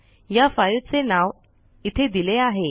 या फाईल चे नाव इथे दिले आहे